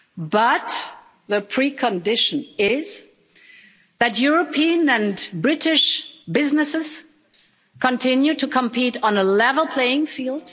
But the precondition is that European and British businesses continue to compete on a level playing field.